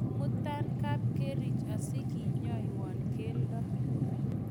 imutan kapkerich asikenyoiwon keldo